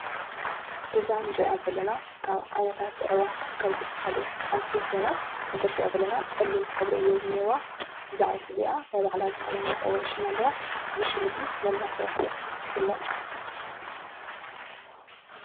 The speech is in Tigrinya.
እዛ እንሪአ ዘለና ካብ ዓይነታት አዕዋፍ ካብ ዝበሃሉ ሓንቲ ኾይና ከምቲ እንሪአ ዘለና ፀሊም ሕብሪ እዩ ዝኒሀዋ። እዛ ዒፍ እዚአ ናይ ባዕላ ዝኾነ መፀዉዒ ሽም አለዋ። እዚ ሽም እዚ መን እናተባሃለት ትፈልጥ?